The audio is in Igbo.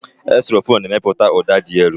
Xylofon na-emepụta ụda dị elu.